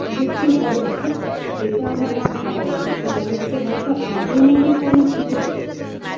বিলুপ্তি হবেনা যেটা আমার ধারণা সেটা হচ্ছে হয়তো আধুনিকীকরণ কিছু হতে পারে